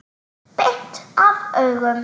Beint af augum.